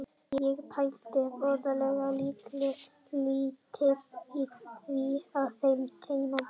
Ég pældi voðalega lítið í því á þeim tímapunkti.